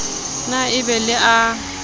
na e be le a